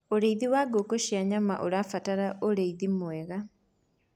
ũrĩithi wa ngũkũ cia nyama ũrabatara ũrĩithi mwega